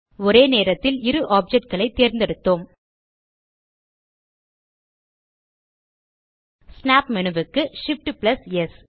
ஒரே நேரத்தில் இரு ஆப்ஜெக்ட் களை தேர்ந்தெடுத்தோம் ஸ்னாப் மேனு க்கு Shift ஆம்ப் ஸ்